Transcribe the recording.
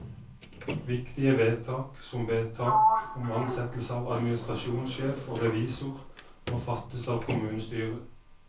Viktige vedtak, som vedtak om ansettelse av administrasjonssjef og revisor, må fattes av kommunestyret.